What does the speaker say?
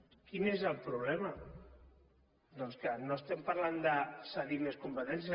quin és el problema doncs que no estem parlant de cedir més competències